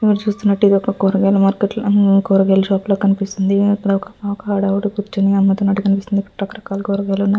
ఇక్కడ చూసినట్టుగా ఇది ఒక కూరగాయల మార్కెట్ ల కూరగాయల షాప్ లా కనిపిస్తుంది అక్కడ ఒక అవిడ కూర్చొని కూరగాయలు అమ్మితునట్టుగా కనిపిస్తుంది అక్కడ రకరకాలు కూరగాయల --